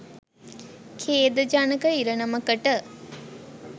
ඛේදජනක ඉරණමකට